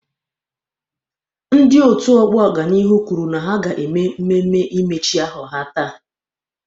Ndị otu ọgbọ ọganihu kwuru na ha ga mmemme imechi ahọ ha taata.